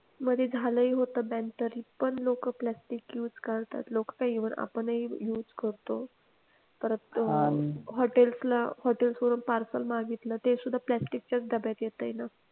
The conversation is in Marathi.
मध्ये झालं होतं ban तरी पण लोक plastic use करतात लोक काय even आपणही use करतो परत अह हॉटेल हॉटेल कढून parcel मागितलं ते सुद्धा प्लास्टिकच्या डब्यात येतय ना.